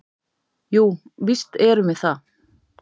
"""Jú, víst erum við það."""